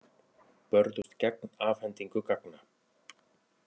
Börðust gegn afhendingu gagna